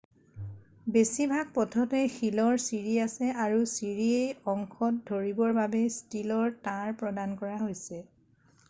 বেছিভাগ পথতে শিলৰ ছিৰি আছে আৰু ছিৰিসেই অংশত ধৰিবৰ বাবে ষ্টীলৰ তাঁৰ প্ৰদান কৰা হৈছে